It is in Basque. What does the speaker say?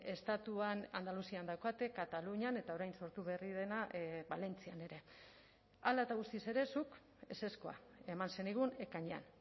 estatuan andaluzian daukate katalunian eta orain sortu berri dena valentzian ere hala eta guztiz ere zuk ezezkoa eman zenigun ekainean